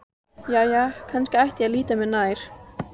Jæja, kannski ætti ég að líta mér nær.